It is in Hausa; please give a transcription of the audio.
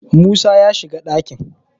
musa ya shiga dakin!